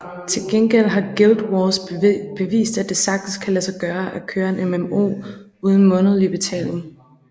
Til gengæld har Guild Wars bevist at det sagtens kan lade sig gøre at køre en MMO uden månedlig betaling